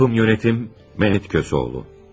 İstehsalın rəhbəri Mehmet Köseoğlu.